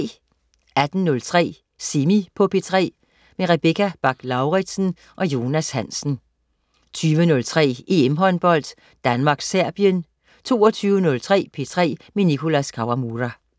18.03 Semi på P3. Rebecca Bach-Lauritsen og Jonas Hansen 20.03 EM-håndbold: Danmark-Serbien 22.03 P3 med Nicholas Kawamura